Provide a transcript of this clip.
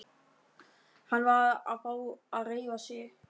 Hann varð að fá að hreyfa sig.